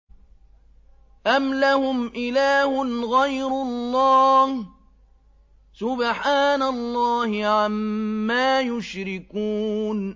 أَمْ لَهُمْ إِلَٰهٌ غَيْرُ اللَّهِ ۚ سُبْحَانَ اللَّهِ عَمَّا يُشْرِكُونَ